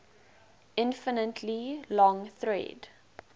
infinitely long thread